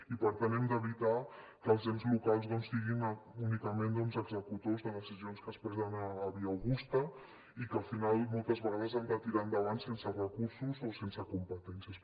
i per tant hem d’evitar que els ens locals siguin únicament doncs executors de decisions que es prenen a via augusta i que al final moltes vegades han de tirar endavant sense recursos o sense competències